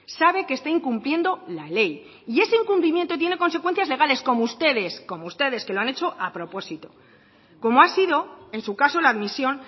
sabe que está incumpliendo la ley y ese incumplimiento tiene consecuencias legales como ustedes como ustedes que lo han hecho a propósito como ha sido en su caso la admisión